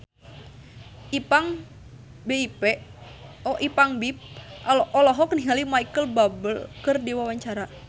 Ipank BIP olohok ningali Micheal Bubble keur diwawancara